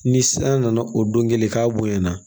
Ni san nana o don kelen k'a bonyana